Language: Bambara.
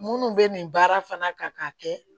Minnu bɛ nin baara fana kan ka kɛ